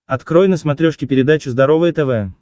открой на смотрешке передачу здоровое тв